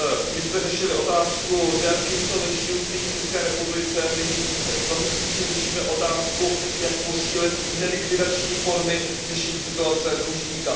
My jsme řešili otázku délky insolvenčního řízení v České republice, nyní zase spíše řešíme otázku, jak posílit nelikvidační formy řešení situace dlužníka.